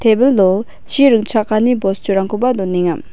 tebilo chi ringchakani bosturangkoba donenga.